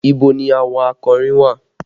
Ibo ni àwọn akọrin wà?